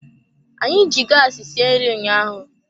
Anyị ji gaasi sie nri ụnyaahụ.